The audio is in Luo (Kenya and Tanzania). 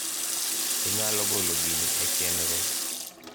inyalo golo gini e chenro